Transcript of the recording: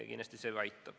Kindlasti see ka aitab.